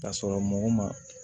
Ka sɔrɔ mɔgɔ ma